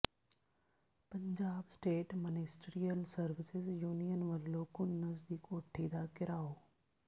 Punjab state ministerial services union ਵੱਲੋਂ ਘੁੰਨਸ ਦੀ ਕੋਠੀ ਦਾ ਘਿਰਾਓ